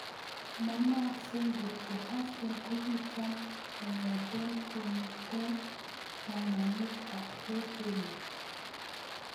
Manaakse kot Huston kokichom kongete kokon kanamet ab ke Pele.